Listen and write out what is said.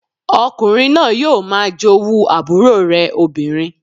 Ọkùnrin náà yóò máa jowú àbúrò rẹ̀ obìnrin